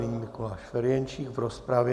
Nyní Mikuláš Ferjenčík v rozpravě.